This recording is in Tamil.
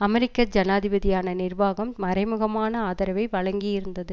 அமெரிக்க ஜனாதிபதியான நிர்வாகம் மறைமுகமான ஆதரவை வழங்கியிருந்தது